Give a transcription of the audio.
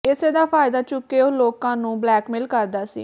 ਇਸੇ ਦਾ ਫਾਇਦਾ ਚੁੱਕ ਕੇ ਉਹ ਲੋਕਾਂ ਨੂੰ ਬਲੈਕਮੇਲ ਕਰਦਾ ਸੀ